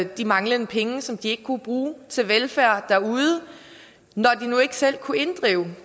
de manglende penge som de ikke kunne bruge til velfærd derude når de nu ikke selv kunne inddrive